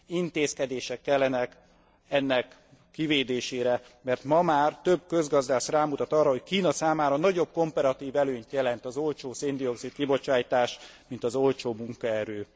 Intézkedések kellenek ennek kivédésére, mert ma már több közgazdász rámutat arra, hogy Kína számára nagyobb komparatív előnyt jelent az olcsó széndioxid kibocsátás, mint az olcsó munkaerő.